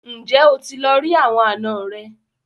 Ǹjẹ́ o ti lọ rí àwọn àna rẹ?